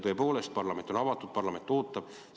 Tõepoolest, parlament on avatud, parlament ootab.